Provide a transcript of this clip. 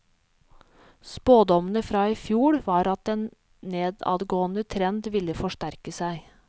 Spådommene fra i fjor var at den nedadgående trend ville forsterke seg.